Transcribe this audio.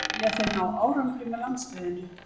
Vilja þeir ná árangri með landsliðinu